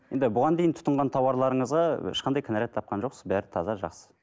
енді бұған дейін тұтынған тауарларыңызға ешқандай кінәрәт тапқан жоқсыз бәрі таза жақсы